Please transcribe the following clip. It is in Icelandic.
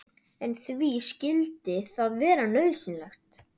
En því skyldi það vera nauðsynlegt?